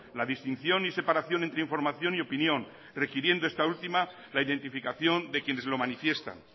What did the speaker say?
la distinción y separación entre información y opinión requiriendo esta última la identificación de quienes lo manifiestan